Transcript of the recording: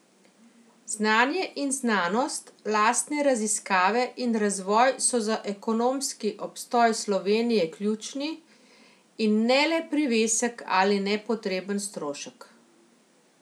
Znanje in znanost, lastne raziskave in razvoj so za ekonomski obstoj Slovenije ključni, in ne le privesek ali nepotreben strošek.